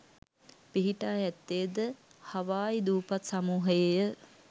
පිහිටා ඇත්තේ ද හවායි දූපත් සමූහයේය